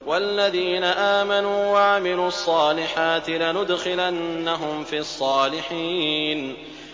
وَالَّذِينَ آمَنُوا وَعَمِلُوا الصَّالِحَاتِ لَنُدْخِلَنَّهُمْ فِي الصَّالِحِينَ